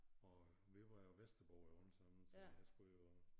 Og vi var jo vesterboere alle sammen så jeg skulle jo